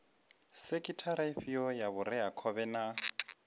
sekhithara ifhio ya vhureakhovhe na